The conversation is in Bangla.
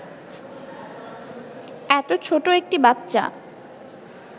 এত ছো্ট একটি বাচ্চা